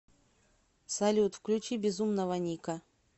салют включи безумного ника